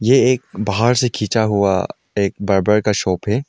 ये एक बाहर से खींचा हुआ एक बार्बर का शॉप है।